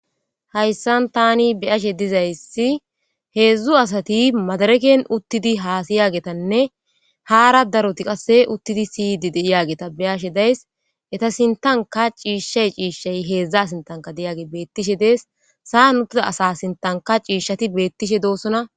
Hayssan taani be'ashshe dizayssi hezhzhu asati madireken uutidi hassiyaggetanne hara darotti qasse uutidi siyidhshe dizaysss be'shshe daysi eetta sinttanka cishshay de'ess sa'an uutida asa sinttanka cishshay betishe de'ess.